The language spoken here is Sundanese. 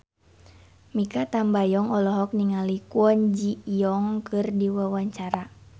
Mikha Tambayong olohok ningali Kwon Ji Yong keur diwawancara